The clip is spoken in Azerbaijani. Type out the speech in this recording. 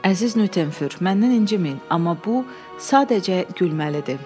Əziz Nüttenfur, məndən inciməyin, amma bu sadəcə gülməlidir.